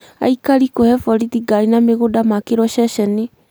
Aikari kũhe borithi ngari na mũgũnda maakĩrwo ceceni